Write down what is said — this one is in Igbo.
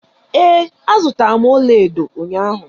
Ee, azụtara m ọlaedo ụnyaahụ.